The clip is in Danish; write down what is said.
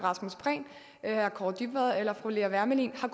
kaare dybvad eller fru lea wermelin har